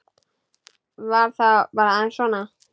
Var það bara aðeins svona?